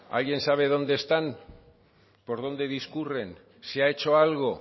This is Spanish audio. alguien sabe dónde están por dónde discurren se ha hecho algo